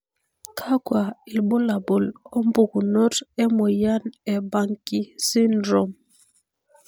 kakwa ilbulabul opukunoto emoyian e Banki sydrome?